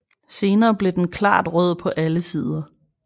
Senere bliver den klart rød på alle sider